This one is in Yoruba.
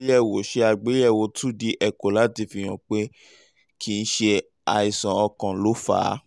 ṣe àgbéyẹ̀wò ṣe àgbéyẹ̀wò two d echo láti fihàn pé kì í ṣe àìsàn ọkàn ló fà á